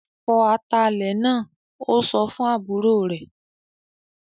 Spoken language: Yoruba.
"Fọ atalẹ̀ náà!" Ó sọ fún àbúrò rẹ̀